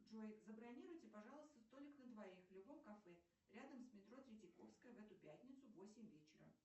джой забронируйте пожалуйста столик на двоих в любом кафе рядом с метро третьяковская в эту пятницу в восемь вечера